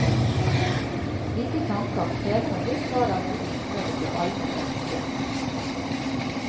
Slike tanker krever en viss grad av modning før de blir alment akseptert.